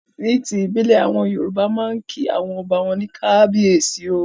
Ní ti ìbílẹ̀, àwọn Yorùbá máa ń kí àwọn ọba wọn ní 'Kábíyèsí o'.